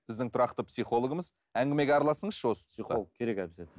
біздің тұрақты психологымыз әңгімеге араласыңызшы осы тұста психолог керек обязательно